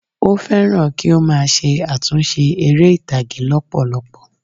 Ó fẹ́ràn kí ó má a se àtúnse eré ìtàgé lópòlopò